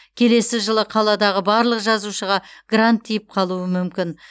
келесі жылы қаладағы барлық жазушыға грант тиіп қалуы мүмкін